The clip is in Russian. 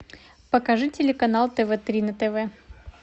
покажи телеканал тв три на тв